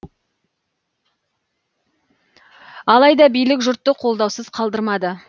алайда билік жұртты қолдаусыз қалдырмады